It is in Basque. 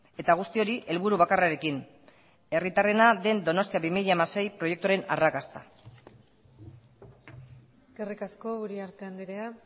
eta guzti hori helburu bakarrarekin herritarrena den donostia bi mila hamasei proiektuaren arrakasta eskerrik asko uriarte andrea